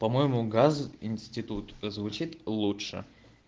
по-моему газ институт звучит лучше